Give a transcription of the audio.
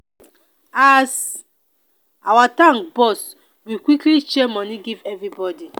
as our tank burst we quickly share moni give everybody.